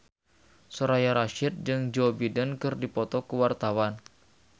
Soraya Rasyid jeung Joe Biden keur dipoto ku wartawan